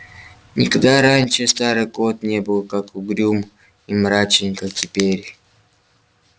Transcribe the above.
никогда раньше старый кот не был так угрюм и мрачен как теперь